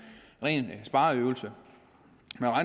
ren spareøvelse